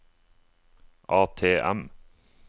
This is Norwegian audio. ATM